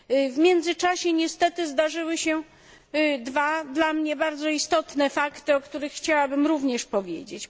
W międzyczasie niestety zdarzyły się dwa, dla mnie bardzo istotne, fakty, o których chciałabym również powiedzieć.